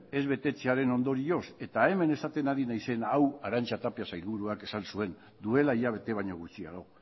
ez betetzearen ondorioz eta hemen esaten ari naizena hau arantza tapia sailburuak esan zuen duela hilabete baino gutxiago